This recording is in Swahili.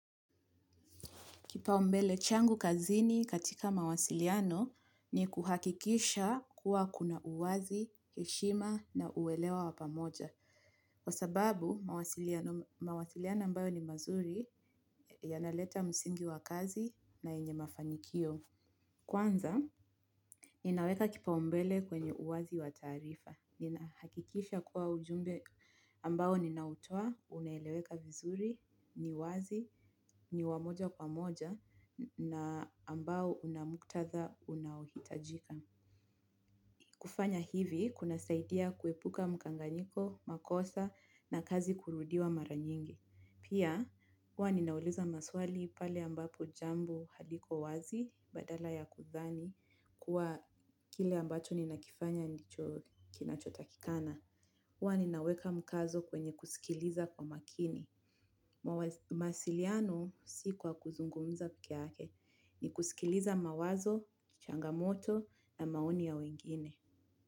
Kipa umbele changu, kazini katika mawasiliano ni kuhakikisha kuwa kuna uwazi, heshima na uwelewa wa pamoja. Kwa sababu, mawasiliano ambayo ni mazuri yanaleta msingi wa kazi na yenye mafanikio. Kwanza, inaweka kipa umbele kwenye uwazi wa taarifa. Nina hakikisha kuwa ujumbe ambao ninautoa, uneleweka vizuri, ni wazi, ni wa moja kwa moja na ambao unamuktadha unaohitajika. Kufanya hivi, kuna saidia kuepuka mchanganyiko, makosa na kazi kurudiwa mara nyingi. Pia, huwa ninauliza maswali pale ambapo jambo haliko wazi badala ya kudhani kuwa kile ambacho ninakifanya ndicho kinachotakikana. Huwa ninaweka mkazo kwenye kuskiliza kwa makini. Mawasiliano si kwa kuzungumza pekee yake ni kusikiliza mawazo, changamoto na maoni ya wengine.